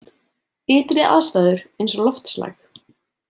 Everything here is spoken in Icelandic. Ytri aðstæður eins og loftslag.